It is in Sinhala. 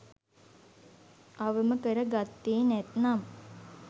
අවම කර ගත්තේ නැත්නම්